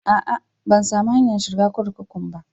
A'a, ban samu hanyar shiga kurkukun ba.